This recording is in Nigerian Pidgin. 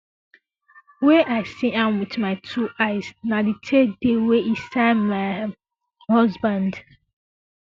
wey i see am wit my two eyes na di third day wey e sign my um husband